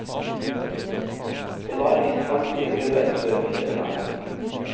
Det var visst aldri prøvet før i dette landet.